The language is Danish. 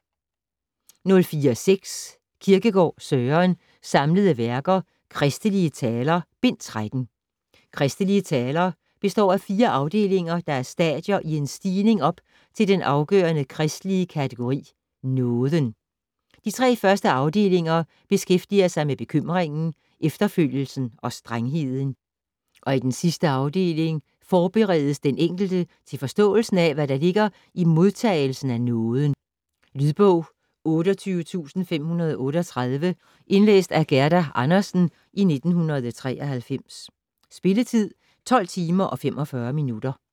04.6 Kierkegaard, Søren: Samlede Værker: Christelige Taler: Bind 13 "Christelige Taler" består af fire afdelinger, der er stadier i en stigning op til den afgørende kristelige kategori: nåden. De tre første afdelinger beskæftiger sig med bekymringen, efterfølgelsen og strengheden, og i sidste afdeling forberedes den enkelte til forståelsen af, hvad der ligger i modtagelsen af nåden. Lydbog 28538 Indlæst af Gerda Andersen, 1993. Spilletid: 12 timer, 45 minutter.